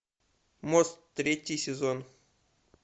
мост третий сезон